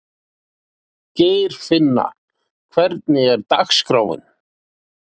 Geirfinna, hvernig er dagskráin?